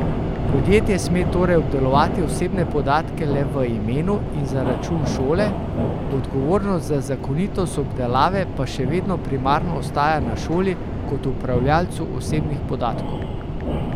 Podjetje sme torej obdelovati osebne podatke le v imenu in za račun šole, odgovornost za zakonitost obdelave pa še vedno primarno ostaja na šoli kot upravljavcu osebnih podatkov.